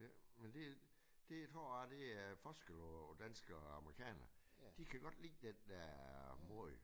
Men det det tror jeg det er forskel på danskere og amerikanere de kan godt lide den der mod